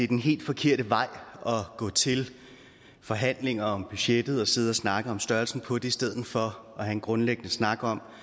den helt forkerte vej at gå til forhandlinger om budgettet og sidde og snakke om størrelsen på det i stedet for at have en grundlæggende snak om